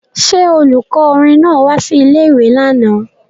Ṣé olùkọ́ orin náà wá sí ilé-ìwé lánàá